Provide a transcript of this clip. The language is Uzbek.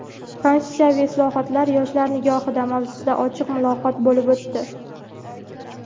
"Konstitutsiyaviy islohotlar yoshlar nigohida" mavzusida ochiq muloqot bo‘lib o‘tdi.